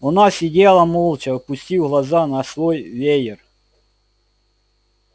она сидела молча опустив глаза на свой веер